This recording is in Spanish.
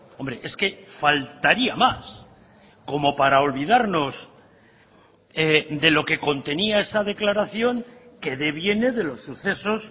hombre es que faltaría más como para olvidarnos de lo que contenía esa declaración que deviene de los sucesos